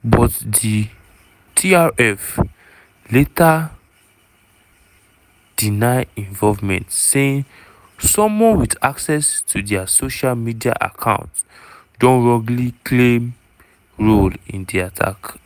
but di trf later deny involvement saying someone wit access to dia social media account don wrongly claim role in di attack.